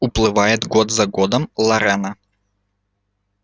уплывает год за годом лорена